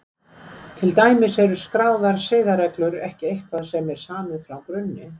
Til dæmis eru skráðar siðareglur ekki eitthvað sem samið er frá grunni.